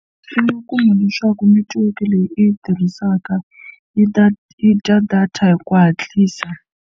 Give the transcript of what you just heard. I nga kuma leswaku netiweke leyi i yi tirhisaka yi ta yi dya data hi ku hatlisa.